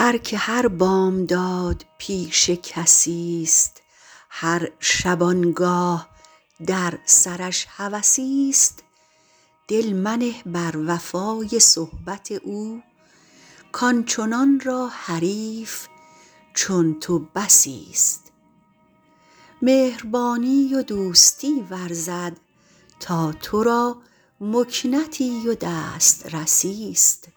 هر که هر بامداد پیش کسیست هر شبانگاه در سرش هوسیست دل منه بر وفای صحبت او کآنچنان را حریف چون تو بسیست مهربانی و دوستی ورزد تا تو را مکنتی و دسترسیست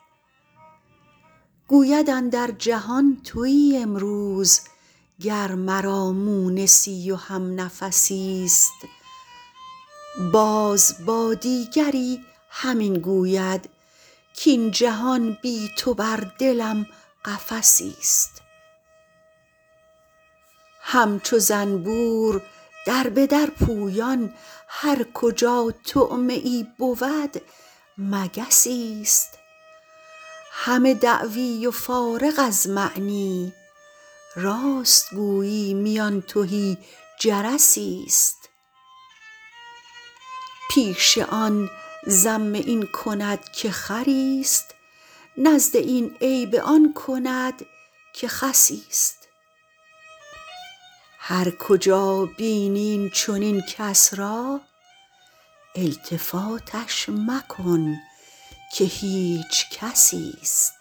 گوید اندر جهان تویی امروز گر مرا مونسی و همنفسیست باز با دیگری همین گوید کاین جهان بی تو بر دلم قفسیست همچو زنبور در به در پویان هر کجا طعمه ای بود مگسیست همه دعوی و فارغ از معنی راست گویی میان تهی جرسیست پیش آن ذم این کند که خریست نزد این عیب آن کند که خسیست هر کجا بینی این چنین کس را التفاتش مکن که هیچ کسیست